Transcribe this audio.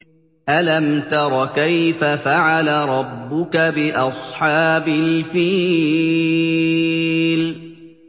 أَلَمْ تَرَ كَيْفَ فَعَلَ رَبُّكَ بِأَصْحَابِ الْفِيلِ